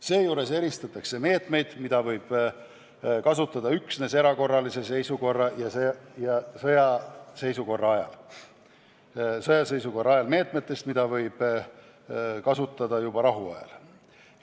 Seejuures eristatakse meetmeid, mida võib kasutada üksnes erakorralise seisukorra ja sõjaseisukorra ajal, meetmetest, mida võib kasutada juba rahuajal.